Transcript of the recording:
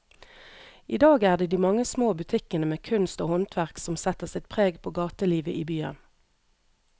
I dag er det de mange små butikkene med kunst og håndverk som setter sitt preg på gatelivet i byen.